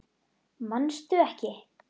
Manstu ekki?